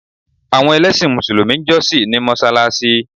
Àwọn ẹlẹ́sìn mùsùlùmí ń jọ́ṣì ní mọsáláṣí